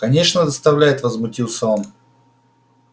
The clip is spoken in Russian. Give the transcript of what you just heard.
конечно доставляет возмутился он